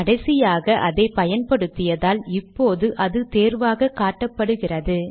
கடைசியாக அதை பயன்படுத்தியதால் இப்போது அது தேர்வாக காட்டப்படுகிறது